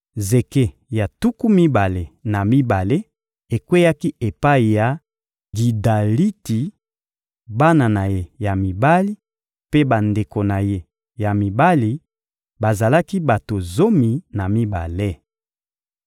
Zeke ya tuku mibale na mibale ekweyaki epai ya Gidaliti, bana na ye ya mibali mpe bandeko na ye ya mibali: bazalaki bato zomi na mibale.